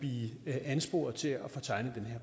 blive ansporet til at tegne